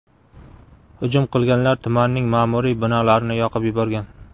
Hujum qilganlar tumanning ma’muriy binolarini yoqib yuborgan.